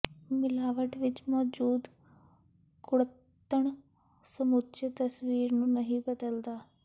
ਮਿਲਾਵਟ ਵਿਚ ਮੌਜੂਦ ਕੁੜੱਤਣ ਸਮੁੱਚੇ ਤਸਵੀਰ ਨੂੰ ਨਹੀਂ ਬਦਲਦਾ